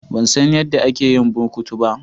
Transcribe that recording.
Ban san yadda ake yin burkutu ba.